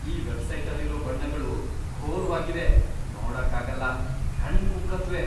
ಈ ವೆಬ್ಸೈಟಲ್ಲಿರೋ ಬಣ್ಣಗಳು ಘೋರ್ವಾಗ್ವಿವೆ..ನೋಡಕ್ಕಾಗಲ್ಲ.. ಕಣ್ಣ್ ಕುಕ್ಕತ್ವೆ.